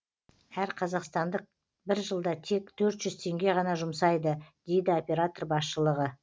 әр қазақстандық бір жылда тек төрт жүз теңге ғана жұмсайды дейді оператор басшылығы